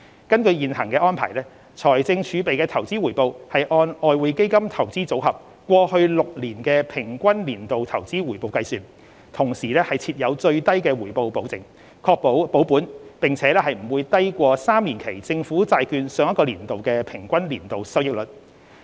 根據現行安排，財政儲備的投資回報按外匯基金"投資組合"過去6年的平均年度投資回報計算，同時設有最低回報保證，確保保本並且不會低於3年期政府債券上一個年度的平均年度收益率。